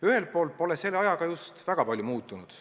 Ühelt poolt pole selle ajaga just väga palju muutunud.